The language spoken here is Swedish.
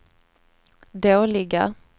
dåliga